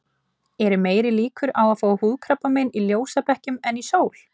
Eru meiri líkur á að fá húðkrabbamein í ljósabekkjum en í sól?